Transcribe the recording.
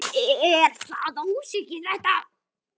Er það ósvikið þetta?